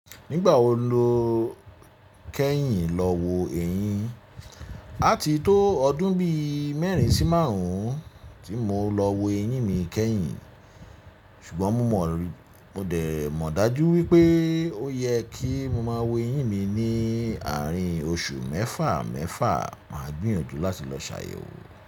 Nígbà wo lo kẹ́yìn lọ wo eyín? Àti tó ọdún bí mẹ́rin sí márùn-ún tí mo lọ wo eyín mi kẹ́yìn, ṣùgbọ́n mo mọ rí, mo dẹ̀ mọ̀ dájú wípé ó yẹ kí mo máa wo eyín mi ní àárín oṣù mẹ́fà mẹ́fà, máa gbìyànjú láti lọ ṣàyèwò.